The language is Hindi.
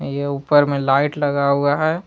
ये ऊपर में लाइट लगा हुआ है।